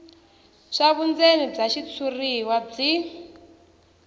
swa vundzeni bya xitshuriwa byi